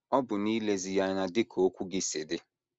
Ọ bụ n’ilezi ya anya dị ka okwu gị si dị.